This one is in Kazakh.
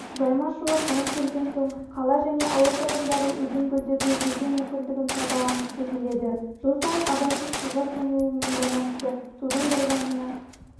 жайма-шуақ жаз келген соң қала және ауыл тұрғындары өзен-көлдерде жүзу мүмкіндігін пайдаланғысы келеді жыл сайын абайсыз суға шомылуымен байланысты судың құрбанына